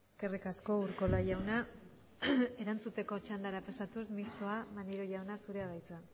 eskerrik asko urkola jauna erantzuteko txandara pasatuz mistoa maneiro jauna zurea da hitza